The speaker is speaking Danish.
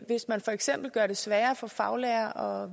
hvis man for eksempel gør det sværere for faglærere